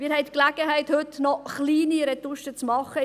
Wir haben die Gelegenheit, heute noch kleine Retuschen vorzunehmen;